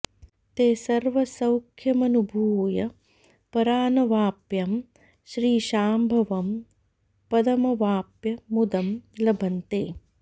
ते सर्व सौख्यमनुभूय परानवाप्यं श्रीशाम्भवं पदमवाप्य मुदं लभन्ते